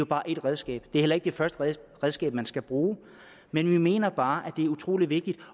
bare ét redskab det heller ikke det første redskab man skal bruge men jeg mener bare at det er utrolig vigtigt